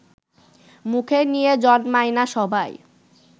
মুখে নিয়ে জন্মায় না সবাই